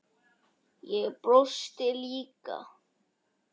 Ég brosti líka.